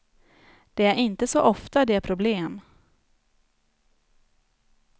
Det är inte så ofta det är problem.